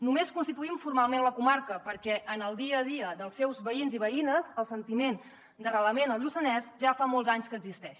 només constituïm formalment la comarca perquè en el dia a dia dels seus veïns i veïnes el sentiment d’arrelament al lluçanès ja fa molts anys que existeix